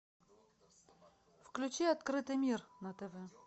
включи открытый мир на тв